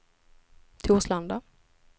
Torslanda